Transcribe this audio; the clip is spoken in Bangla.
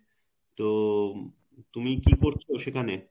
তো উম তুমি কি করছো সেখানে